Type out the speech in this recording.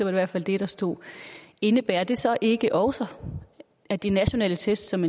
i hvert fald det der stod indebærer det så ikke også at de nationale test som